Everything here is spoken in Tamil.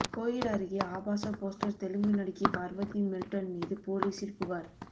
கோயில் அருகே ஆபாச போஸ்டர் தெலுங்கு நடிகை பார்வதி மெல்டன் மீது போலீசில் புகார்